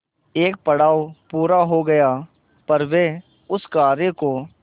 एक पड़ाव पूरा हो गया पर वे उस कार्य को